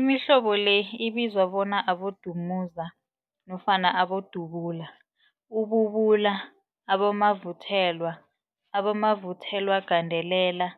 Imihlobo le ibizwa bona, abodumuza nofana abodubula, ububula, abomavuthelwa, abomavuthelwagandelela,